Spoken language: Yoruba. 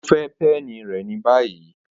O fẹ peni rẹ ni bayi!